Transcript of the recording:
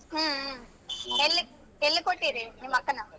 ಹ್ಮ್ ಹ್ಮ್ ಎಲ್ಲಿಗ್ ಎಲ್ಲಿಗ್ ಕೊಟ್ಟಿರಿ ನಿಮ್ ಅಕ್ಕನ?